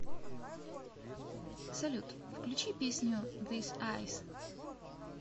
салют включи песню зис айс